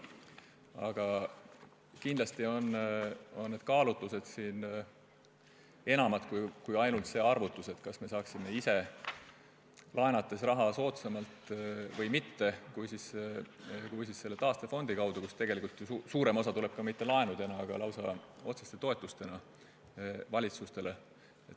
Aga kindlasti põhinevad need kaalutlused siin millelgi enamal kui ainult sellel arvutusel, kas saaksime ise laenates raha soodsamalt kui selle taastefondi kaudu, kust tegelikult suurem osa ei tule ju mitte laenudena, vaid lausa otseste toetustena valitsustele.